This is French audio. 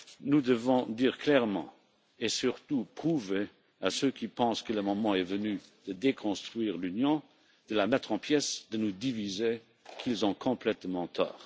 Nous devons dire clairement et surtout prouver à ceux qui pensent que le moment est venu de déconstruire l'Union, de la mettre en pièces, de nous diviser, qu'ils ont complètement tort.